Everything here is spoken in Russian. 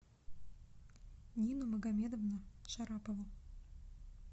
нину магомедовну шарапову